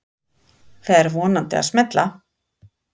Fer vonandi að smella